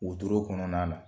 U to ra kɔnɔna na